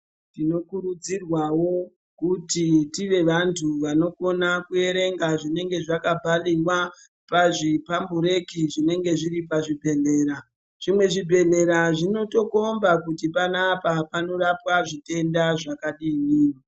Tinokurudzirwawo kuti tive vantu vanokona kuverenga zvinenge zvakabhaliwa pazvipambureki zvinenge zviri pazvibhedhlera. Zvimwe zvibhedhlera zvinotokomba kuti panapa panorapwa zvitenda zvakadini.